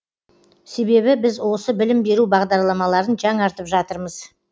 себебі біз осы білім беру бағдарламаларын жаңартып жатырмыз